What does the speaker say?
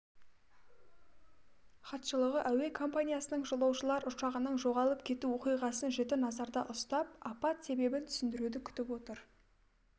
хатшылығы әуе компаниясының жолаушылар ұшағының жоғалып кету оқиғасын жіті назарда ұстап апат себебін түсіндіруді күтіп отыр